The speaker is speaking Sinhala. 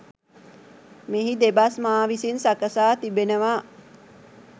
මෙහි දෙබස් මා විසින් සකසා තිබෙනවා.